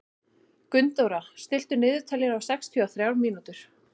Gunndóra, stilltu niðurteljara á sextíu og þrjár mínútur.